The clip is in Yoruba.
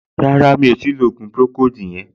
Rárá, mi ò tíì lo ògùn pùròkóòdù yẹn